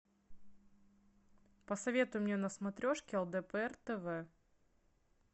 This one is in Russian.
посоветуй мне на смотрешке лдпр тв